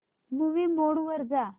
movie mode वर जा